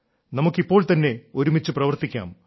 നമുക്ക് ഇപ്പോൾ തന്നെ ഒരുമിച്ചു പ്രവർത്തിക്കാം